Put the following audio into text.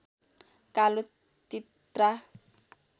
कालो तित्रा